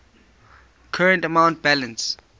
current account balance